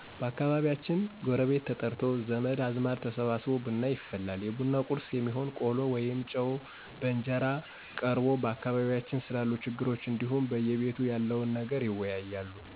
በአካባቢያችን ጎረቤት ተጠርቶ፣ ዘመድ አዝማዱ ተሰብስቦ ብና ይፈላል። የቡና ቁርስ የሚሆን ቆሎ ወይም ጨው በእንጀራ ቀርቦ በአካባቢያችን ስላሉ ችግሮች እንዲሁም በየቤቱ ያለውን ነገር ይወያያሉ።